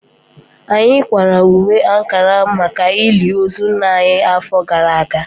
Anyị kwara uwe ankara maka ili ozu nna anyị afọ gara aga